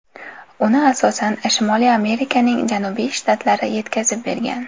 Uni asosan Shimoliy Amerikaning janubiy shtatlari yetkazib bergan.